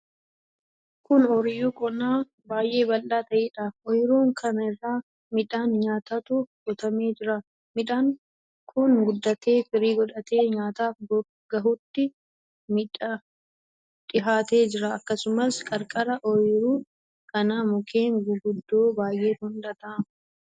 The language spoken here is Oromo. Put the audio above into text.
Kun oyiruu qonnaa baay'ee bal'aa ta'eedha. Oyiruu kana irra midhaan nyaataatu qotamee jira. Midhaanni kun guddatee, firii godhatee nyaataaf gahuutti dhihaatee jira. Akkasumas, qarqara oyiruu kanaa mukkeen guguddoo baay'eetu mul'ata.